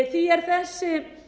því er þessi